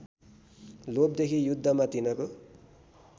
लोभदेखि युद्धमा तिनको